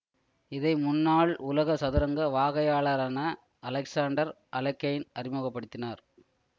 இதை முன்னாள் உலக சதுரங்க வாகையாளரான அலெக்சான்டர் அலெக்கைன் அறிமுக படுத்தினார்